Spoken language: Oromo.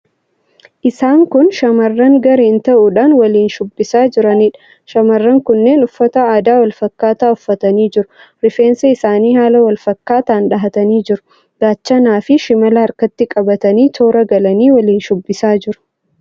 Isaan kun shamarran gareen ta'uudhaan waliin shubbisaa jiraniidha. Shamarran kunneen uffata aadaa wal fakkaataa uffatanii jiru. Rifeensa isaanii haala wal fakkaataan dhahatanii jiru. Gaachanaafi shimala harkatti qabatanii, toora galanii waliin shubbisaa jiru.